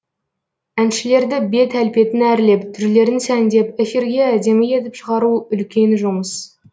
әншілерді бет әлпетін әрлеп түрлерін сәндеп эфирге әдемі етіп шығару үлкен жұмыс